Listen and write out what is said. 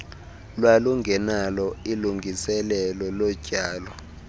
lwalungenalo ilungiselelo lotyalo